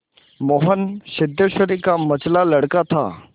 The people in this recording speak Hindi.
मोहन सिद्धेश्वरी का मंझला लड़का था